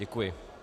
Děkuji.